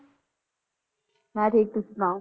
ਮੈਂ ਠੀਕ ਤੁਸੀ ਸੁਣਾਓ